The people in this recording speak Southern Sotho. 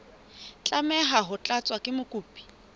tlameha ho tlatswa ke mokopi